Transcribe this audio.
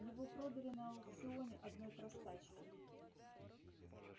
его продали на аукционе одной простачке